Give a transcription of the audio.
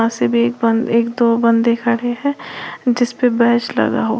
सब एक बंद एक दो बंदे खड़े है जिस पे बैच लगा हुआ--